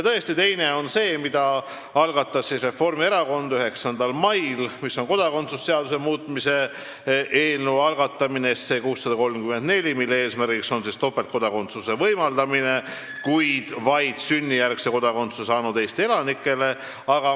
Tõesti, teine eelnõu on see, mille algatas Reformierakond 9. mail, see on kodakondsuse seaduse muutmise seaduse eelnõu 634, mille eesmärk on võimaldada topeltkodakondsust, kuid vaid sünnijärgse kodakondsusega Eesti elanikele.